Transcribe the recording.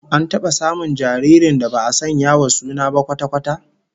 An taba samun jaririn da ba'a sanya wa suna ba kwata-kwata?